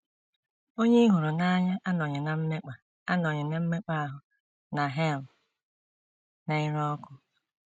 Onye ị hụrụ n’anya anọghị ná mmekpa anọghị ná mmekpa ahụ na hel na - ere ọkụ.